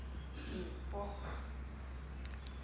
mupo